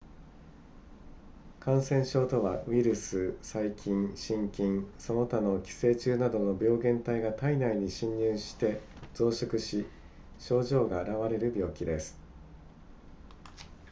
感染症とはウイルス細菌真菌その他の寄生虫などの病原体が体内に侵入して増殖し症状が現れる病気です